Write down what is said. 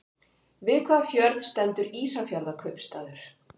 Við hvaða fjörð stendur Ísafjarðarkaupstaður?